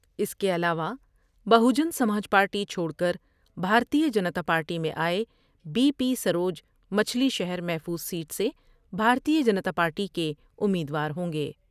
اس کے ا علاوہ بہوجن سماج پارٹی چھوڑ کر بھارتیہ جنتا پارٹی میں آۓ بی پی سروج مچھلی شہرمحفوظ سیٹ سے بھارتیہ جنتا پارٹی کے امیدوار ہوں گے ۔